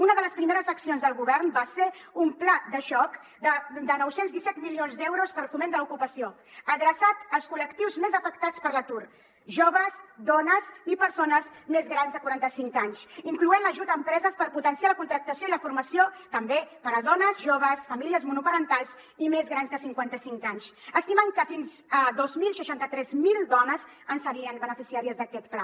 una de les primeres accions del govern va ser un pla de xoc de nou cents i disset milions d’eu·ros per al foment de l’ocupació adreçat als col·lectius més afectats per l’atur joves dones i persones més grans de quaranta·cinc anys incloent·hi l’ajut a empreses per potenciar la contractació i la formació també per a dones joves famílies monopa·rentals i més grans de cinquanta·cinc anys estimant que fins a dos mil seixanta tres mil dones en serien beneficiàries d’aquest pla